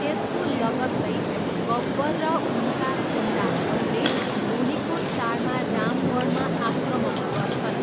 त्यसको लगत्तै, गब्बर र उनका गुन्डाहरूले होलीको चाडमा रामगढमा आक्रमण गर्छन्।